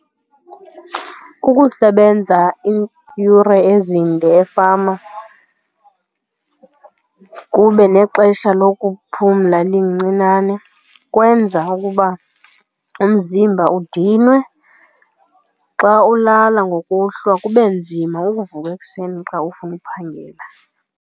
Ukusebenza iiyure ezinde efama kube nexesha lokuphumla elincinane kwenza ukuba umzimba udinwe, xa ulala ngokuhlwa kube nzima ukuvuka ekuseni xa ufuna uphangela.